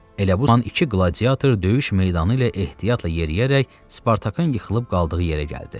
Elə bu an iki qladiator döyüş meydanı ilə ehtiyatla yeriyərək Spartakın yıxılıb qaldığı yerə gəldi.